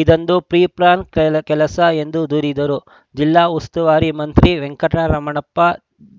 ಇದೊಂದು ಪ್ರೀಪ್ಲಾನ್‌ ಕೆಕೆಲಸ ಎಂದು ದೂರಿದರು ಜಿಲ್ಲಾ ಉಸ್ತುವಾರಿ ಮಂತ್ರಿ ವೆಂಕಟರಮಣಪ್ಪ